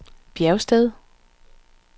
Bjergsted